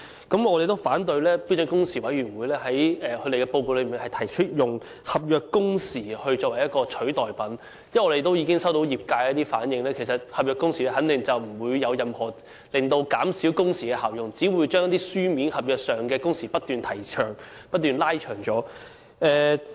我們反對標時委員會在其報告內提出，以合約工時作為代替品，因為業界已向我們反映，合約工時肯定不能達到任何減少工時的效用，只會將書面合約的工時不斷延長。